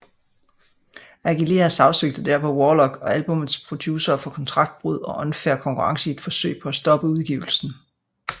Aguilera sagsøgte derpå Warlock og albummets producere for kontraktbrud og unfair konkurrence i et forsøg på at stoppe udgivelsen